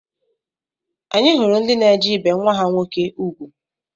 Anyị hụrụ ndị na-eje ibe nwa ha nwoke ugwu